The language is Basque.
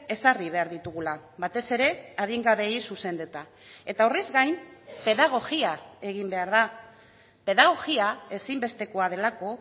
ezarri behar ditugula batez ere adingabeei zuzenduta eta horrez gain pedagogia egin behar da pedagogia ezinbestekoa delako